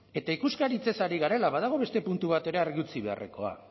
eta ikuskaritzaz ari garela badago beste puntu bat ere argi utzi beharrekoa